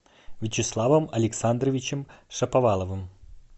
вячеславом александровичем шаповаловым